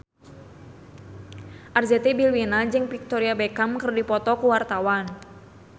Arzetti Bilbina jeung Victoria Beckham keur dipoto ku wartawan